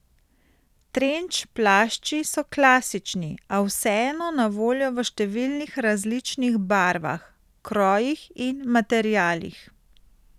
Trenč plašči so klasični, a vseeno na voljo v številnih različnih barvah, krojih in materialih.